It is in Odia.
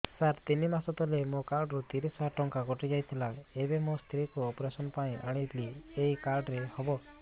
ସାର ତିନି ମାସ ତଳେ ମୋ କାର୍ଡ ରୁ ତିରିଶ ହଜାର ଟଙ୍କା କଟିଯାଇଥିଲା ଏବେ ମୋ ସ୍ତ୍ରୀ କୁ ଅପେରସନ ପାଇଁ ଆଣିଥିଲି ଏଇ କାର୍ଡ ରେ ହବ